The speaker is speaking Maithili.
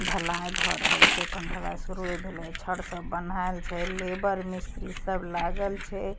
ढलाई भ रहल छै अखन ढलाई शुरू वे भेल छै छड़ सब बनहेल छै लेबर मिस्त्री सब लागल छै ।